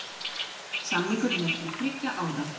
Samningurinn er til þriggja ára